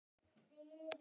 Ekki eyri.